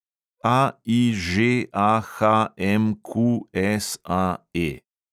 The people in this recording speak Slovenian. AIŽAHMQSAE